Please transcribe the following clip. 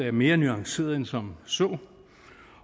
er mere nuanceret end som så